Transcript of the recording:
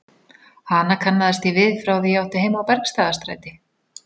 Hana kannaðist ég við frá því ég átti heima á Bergstaðastræti.